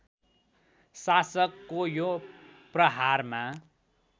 शासकको यो प्रहारमा